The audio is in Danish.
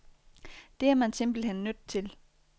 Det er man simpelthen nødt til.